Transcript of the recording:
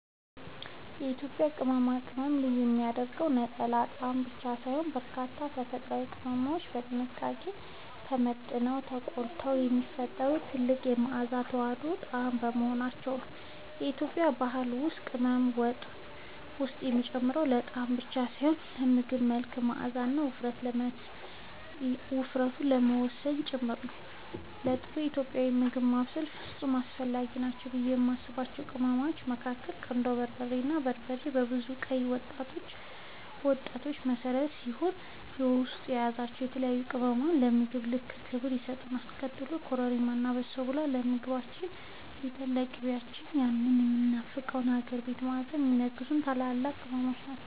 የኢትዮጵያን ቅመማ ቅመም ልዩ የሚያደርገው ነጠላ ጣዕም ብቻ ሳይሆን፣ በርካታ ተፈጥሯዊ ቅመሞች በጥንቃቄ ተመጥነውና ተቆልተው የሚፈጥሩት ጥልቅ መዓዛና የተዋሃደ ጣዕም በመሆናቸው ነው። በኢትዮጵያ ባህል ውስጥ ቅመም ወጥ ውስጥ የሚጨመረው ለጣዕም ብቻ ሳይሆን የምግቡን መልክ፣ መዓዛና ውፍረት ለመወሰን ጭምር ነው። ለጥሩ ኢትዮጵያዊ ምግብ ማብሰል ፍጹም አስፈላጊ ናቸው ብዬ የማስባቸው ቅመሞች መካከል ቀዳሚው በርበሬ ነው። በርበሬ የብዙ ቀይ ወጦች መሠረት ሲሆን፣ በውስጡ የያዛቸው የተለያዩ ቅመሞች ለምግቡ ልዩ ክብር ይሰጡታል። ቀጥሎም ኮረሪማ እና በሶብላ ለምግቦቻችን እና ለንጥር ቅቤያችን ያንን የሚናፈቀውን የሀገር ቤት መዓዛ የሚለግሱ ታላላቅ ቅመሞች ናቸው።